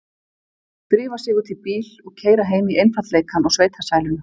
Drífa sig út í bíl og keyra heim í einfaldleikann og sveitasæluna.